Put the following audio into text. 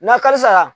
N'a halisa